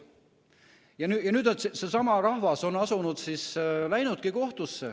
Ja nüüd seesama rahvas on läinudki kohtusse.